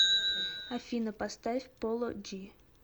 афина поставь поло джи